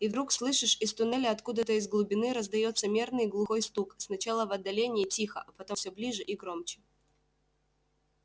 и вдруг слышишь из туннеля откуда-то из глубины раздаётся мерный глухой стук сначала в отдалении тихо а потом всё ближе и громче